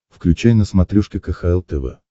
включай на смотрешке кхл тв